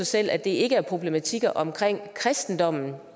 selv at det ikke er problematikker omkring kristendommen